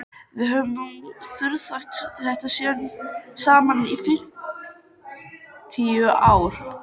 Við höfum nú þraukað þetta síðan saman í fimmtíu ár.